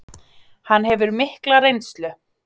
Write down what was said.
Hann hefur mikla reynslu